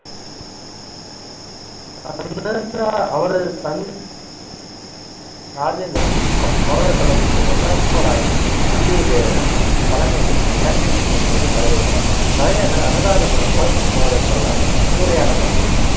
ராஜேந்திரன் சோழ தளபதி வல்லவராயன் வந்தியத்தேவன் தலைமையில் இலங்கைத் தீவின் மீது படையெடுத்தார். தலைநகர் அனுராதபுரம் சோழர் படையால் சூறையாடப்பட்டது